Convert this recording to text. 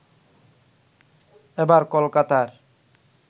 এবার কলকাতার